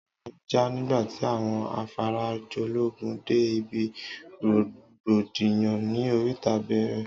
Àyà mí jà nígbàtí àwọn Afarajológun dé ibí rògbòdìyàn ní oríta bẹẹrẹ